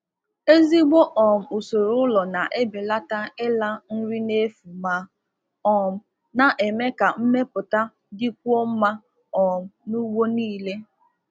Ụzọ ụlọ zụ anụ ọkụkọ um e ọkụkọ um e si eme nke ọma um na-ebelata imefu nri na-emeziwanye arụmọrụ um n'ụgbọ ahịa dum.